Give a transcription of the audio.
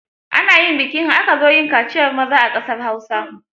Ana yin biki in aka zo yin kaciyar maza a ƙasar Hausa.